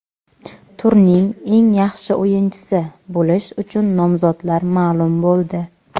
"Turning eng yaxshi o‘yinchisi" bo‘lish uchun nomzodlar ma’lum bo‘ldi.